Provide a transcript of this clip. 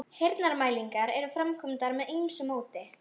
Heyrnarmælingar eru framkvæmdar með ýmsu móti.